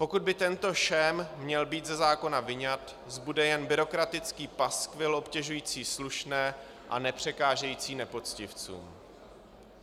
Pokud by tento šém měl být ze zákona vyňat, zbude jen byrokratický paskvil obtěžující slušné a nepřekážející nepoctivcům.